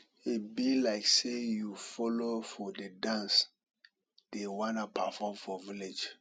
e be like say you follow for the dance dey wan perform for village